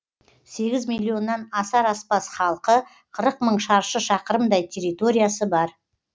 сегіз миллионнан асар аспас халқы қырық мың шаршы шақырымдай территориясы бар